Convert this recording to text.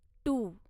to